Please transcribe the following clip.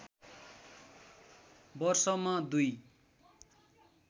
वर्षमा दुई